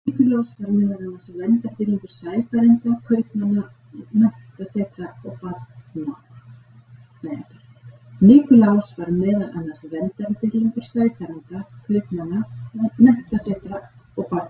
Nikulás var meðal annars verndardýrlingur sæfarenda, kaupmanna, menntasetra og barna.